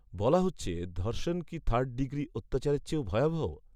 বলা হচ্ছে, ধর্ষণ কি থার্ড ডিগ্রি অত্যাচরের চেয়েও ভয়াবহ?